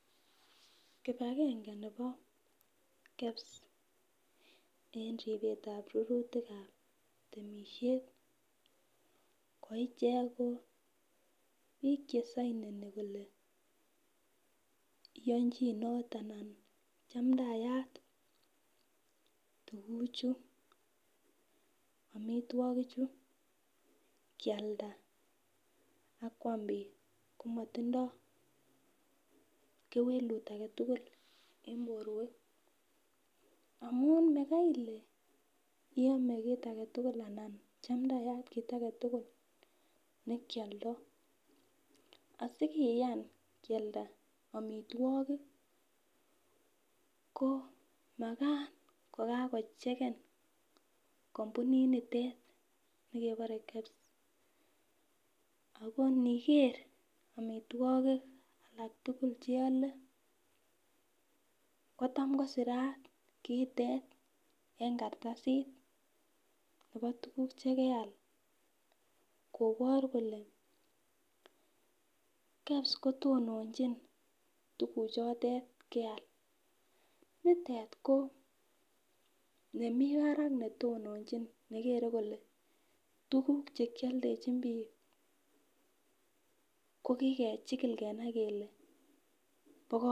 Kipagenge nebo KEBS en ribetab rurutikab temishet ko ichek ko biik che sainoni kole inyonjinot anan chamdayat tukuchu omitwokichu kialda ak kwam biik komatindoi kewelut age tugul eng' borwek amun makaile iyome kiit age tugul anan chamdayat kiit age tugul nekioldoi asikiyan kialda omitwokik ko makat kokakocheken kampuni nitet nekeborei KEBS ako niker omitwokik alak tugul cheole ko tam kosirat kiitet eng' karatasit nebo tukuk chekeal koboru kole KEBS kotononjin tukuchotoet keal nitet ko nemi barak netononjin nekere kole tukuk chekioldejin biik ko kikechikil kenai kele bo